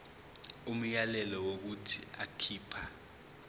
umyalelo wokuthi akhipha